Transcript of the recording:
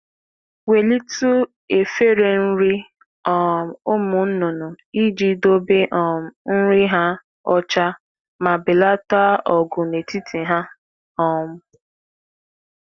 Bulie ite nri n’elu ala ka nri dị ọcha ma belata ọgụ n’etiti anụ ọkụkọ.